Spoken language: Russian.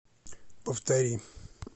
повтори